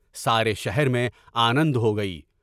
سارے شہر میں آنند ہو گئی۔